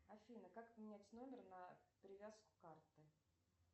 афина как поменять номер на привязку карты